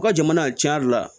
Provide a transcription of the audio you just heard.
U ka jamana cɛn yɛrɛ la